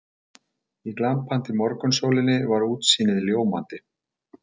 Í glampandi morgunsólinni var útsýnið ljómandi.